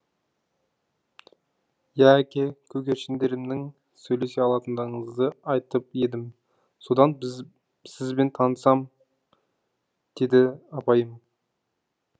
иә әке көгершіндерімнің сөйлесе алатыныңызды айтып едім содан сізбен танысам деді апайым